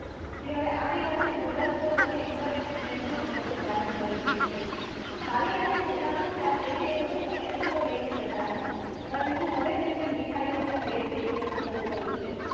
જે હવે આ રિવાજ એ મોબાઇલ ફોને internet message અને સ્વરૂપ ધારણ કરી લીધું છે ખાલી હાથે જતા ન હતા જેથી તેઓ સમીપત્ર લઈ હતા પરંતુ હવે તેમને મીઠાઈ અને ભેટ લઈ જવાનું શરૂ કર્યું છે